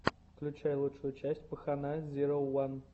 включай лучшую часть пахана зироу ван